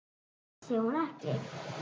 Vissi hún ekki!